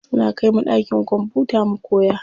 Suna kaimu ɗakin kwamfuta mu koya.